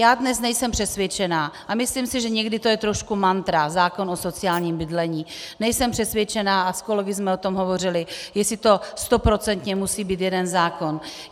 Já dnes nejsem přesvědčena a myslím si, že někdy to je trošku mantra, zákon o sociálním bydlení, nejsem přesvědčena, a s kolegy jsme o tom hovořili, jestli to stoprocentně musí být jeden zákon.